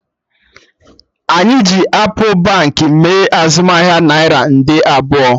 Anyị ji appụ Baankị mee azụmahịa naira nde abụọ